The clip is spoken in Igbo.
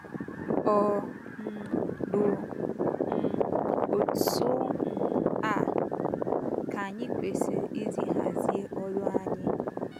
Ọ um bụ um otú um a, ka anyị kwesịrị isi hazie ọrụ anyị? ”